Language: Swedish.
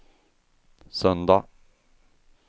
söndag